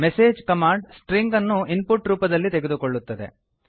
message command string ಅನ್ನು input ರೂಪದಲ್ಲಿ ತೆಗೆದುಕೊಳ್ಳುತ್ತದೆ